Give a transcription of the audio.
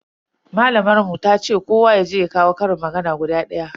Malamar mu tace kowa yaje ya koyo ƙarin magana guda daya.